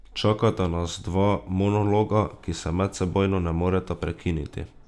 Čakata nas dva monologa, ki se medsebojno ne moreta prekiniti.